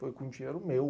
Foi com dinheiro meu.